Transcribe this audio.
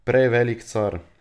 Prej velik car!